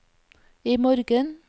imorgen